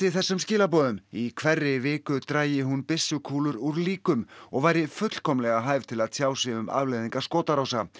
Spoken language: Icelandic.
þessum skilaboðum í hverri viku drægi hún byssukúlur úr líkum og væri fullkomlega hæf til að tjá sig um afleiðingar skotárása